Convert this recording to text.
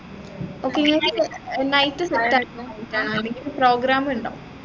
okay നിങ്ങക്ക് night നിങ്ങക്ക് program ഇണ്ടാവു